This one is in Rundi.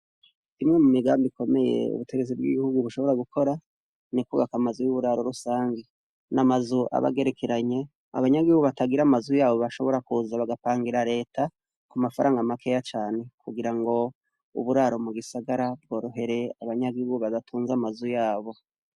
Imwe mu migambi ikomeye ubutegetsi bw'igihugu bushobora gukora ni kubaka amazu y'uburaro rusange n'amazu abagerekeranye abanyagihugu batagira amazu yabo bashobora kuza bagapangira reta ku mafaranga makeya cane kugirango uburaro mu gisagara bworohere abanyagihugu badatunze amazu yabo.